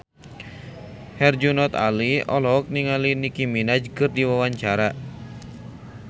Herjunot Ali olohok ningali Nicky Minaj keur diwawancara